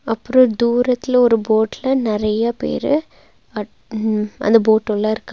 அப்றோ தூரத்தில ஒரு போட்ல நெறையா பேரு அ ம் அந்த போட்டு உள்ள இருக்கா--